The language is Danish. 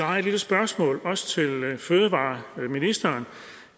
jeg et lille spørgsmål også til fødevareministeren